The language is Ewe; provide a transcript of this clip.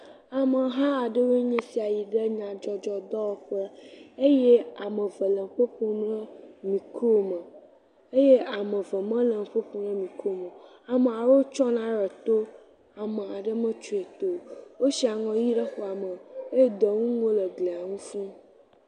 Ameha aɖewoe nye sia yi ɖe nyadzɔdzɔ dɔwɔƒe eye ame eve le nuƒo ƒo le mikrome eye ame eve mele nuƒo ƒom ɖe mikrome o. Amaa rewo tsyɔ na re to, ama ɖe metsyɔe to o. Woshi aŋɔ ʋi ɖe xɔa me eye dɔwƒŋuwo le glia ŋu fũu.